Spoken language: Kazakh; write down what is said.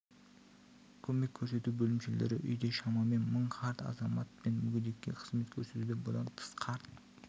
көмек көрсету бөлімшелері үйде шамамен мың қарт азамат пен мүгедекке қызмет көрсетуде бұдан тыс қарт